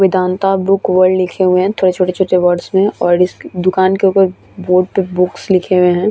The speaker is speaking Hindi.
वेदांता बुक वर्ल्ड लिखे हुए है थोड़े छोटे-छोटे वर्डस में और इस दुकान के ऊपर बोर्ड पे बुक्स लिखे हुए है।